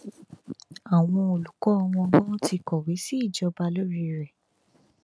àwọn olùkọ wọn ganan ti kọwé sí ìjọba lórí ẹ